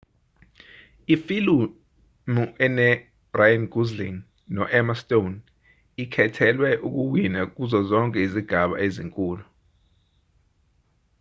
ifilimu eno-ryan gosling noemma stone ikhethelwe ukuwina kuzo zonke izigaba ezinkulu